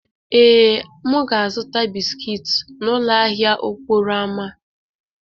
Ee, m ga-azụta bisikiiti n'ụlọ ahịa okporo ámá.